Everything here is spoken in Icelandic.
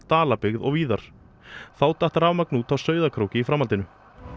Dalabyggð og víðar þá datt rafmagnið út á Sauðárkróki í framhaldinu